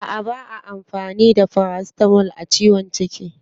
A'a ba'a amfani da paracetamol a ciwon ciki.